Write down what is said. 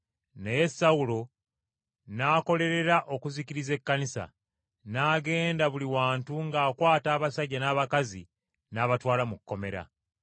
Naye Sawulo n’akolerera okuzikiriza Ekkanisa; n’agenda buli wantu ng’akwata abasajja n’abakazi n’abatwala mu kkomera.